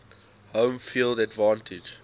home field advantage